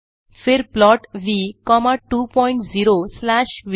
फिर plot v comma 2 point 0 slash व